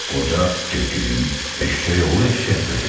Qoca dedim, eşşək oğlu eşşək də dedim.